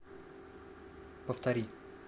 повтори